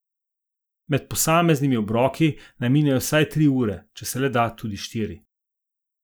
Med posameznimi obroki naj minejo vsaj tri ure, če se le da, tudi štiri.